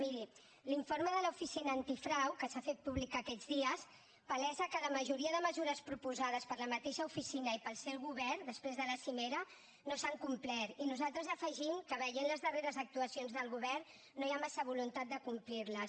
miri l’informe de l’oficina antifrau que s’ha fet públic aquests dies palesa que la majoria de mesures proposades per la mateixa oficina i pel seu govern després de la cimera no s’han complert i nosaltres afegim que veient les darreres actuacions del govern no hi ha massa voluntat de complir les